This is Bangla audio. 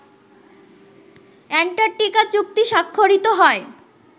অ্যান্টার্কটিকা চুক্তি স্বাক্ষরিত হয়